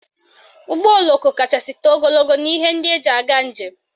Ụgbọoloko kachasị too ogologo n'ihe ndị eji aga njem